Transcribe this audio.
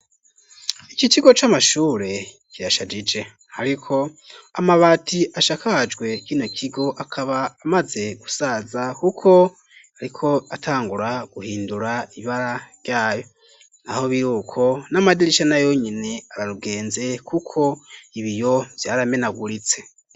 Iki kigo c'amashure kirashajije ariko amabati ashakajwe kino kigo akaba amaze gusaza kuko ariko atangura guhindura ibara ryayo naho biruko n'amadirisha nayo nyene ararugenze kuko ibiyo vyaramenaguritse.